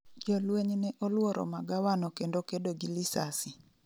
jolweny ne olworo magawano kendo kedo gi lisasi